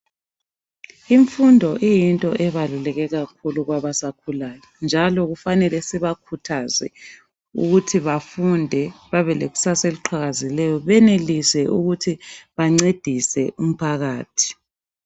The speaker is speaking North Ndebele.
Imfundo iyinto ebaluleke kakhulu kwabasakhulayo njalo kufanele sibakhuthaze ukuthi bafunde babelekusasa eliqhakazileyo benelise ukuthi bancedise umphakathi.